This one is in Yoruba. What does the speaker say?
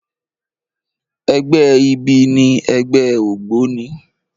Ègbè ibi ni ègbè ógbóni